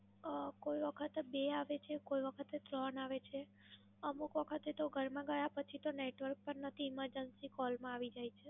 કોઈ વખત બે આવે છે, કોઈ વખતે ત્રણ આવે છે. અમુક વખતે તો ઘરમાં ગયા પછી તો નેટવર્ક પણ નથી, Emergency Call માં આવી જાય છે.